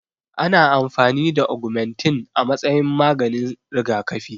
Ana amfani da agumantin a matsayin maganin rigakafi